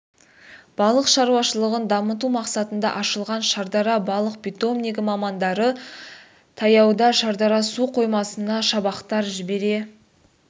балық шаруашылығын дамыту мақсатында ашылған шардара балық питомнигі мамандары таяуда шардара су қоймасына шабақтар жібере